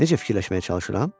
Necə fikirləşməyə çalışıram?